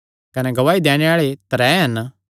कने गवाही दैणे आल़े त्रै हन